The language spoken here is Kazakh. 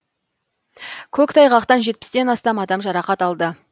көктайғақтан жетпістен астам адам жарақат алды